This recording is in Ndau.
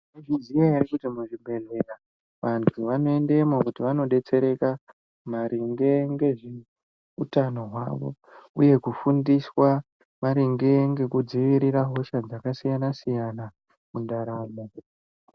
Maizviziya ere kuti muzvibhedhlera vantu vanoendemo kuti vanodetsereka maringe ngezveutano hwavo uye kufundiswa maringe ngekudzivirira hosha dzakasiyana-siyana mundaramo.